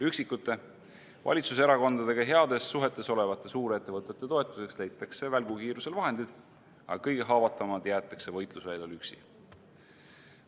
Üksikute, valitsuserakondadega heades suhetes olevate suurettevõtete toetuseks leitakse välgukiirusel vahendid, aga kõige haavatavamad jäetakse võitlusväljal üksi.